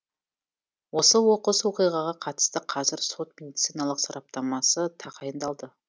осы оқыс оқиғаға қатысты қазір сот медициналық сараптамасы тағайындалды